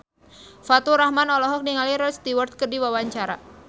Faturrahman olohok ningali Rod Stewart keur diwawancara